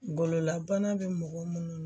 Gololabana bɛ mɔgɔ munnu na